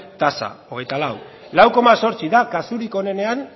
tasa hogeita lau lau koma zortzi da kasurik onenean